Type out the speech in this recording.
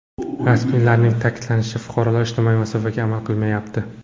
Rasmiylarning ta’kidlashicha, fuqarolar ijtimoiy masofaga amal qilmayapti.